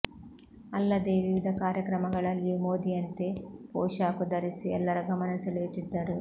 ಅಲ್ಲದೇ ವಿವಿಧ ಕಾರ್ಯಕ್ರಮಗಳಲ್ಲಿಯೂ ಮೋದಿಯಂತೆ ಪೋಷಾಕು ಧರಿಸಿ ಎಲ್ಲರ ಗಮನ ಸೆಳೆಯುತ್ತಿದ್ದರು